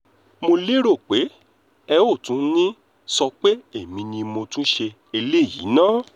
mo lérò pé ẹ ò tún ní í sọ pé èmi ni mo tún ṣe eléyìí náà